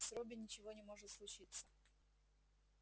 с робби ничего не может случиться